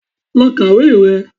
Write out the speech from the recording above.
Lọ kàwé rẹ!